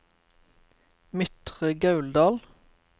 Midtre Gauldal